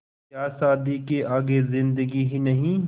क्या शादी के आगे ज़िन्दगी ही नहीं